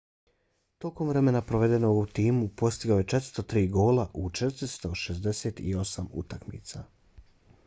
tokom vremena provedenog u timu postigao je 403 gola u 468 utakmica